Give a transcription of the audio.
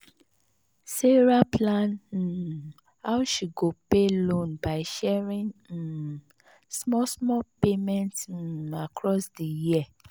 sarah plan um how she go pay loan by sharing um small small payment um across di year.